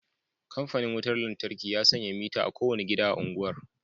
Kamfanin wutar lantarki ya sanya mitter a kowane gida a unguwar